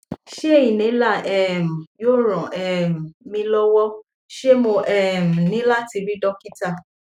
ṣé inhaler um yóò ran um mi lọwọ ṣé mo um ní láti rí dókítà